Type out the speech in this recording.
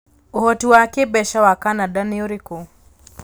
Ũhoti wa kĩĩmbeca wa Canada nĩ ũrĩkũ?